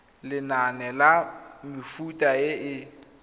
lenane la mefuta e e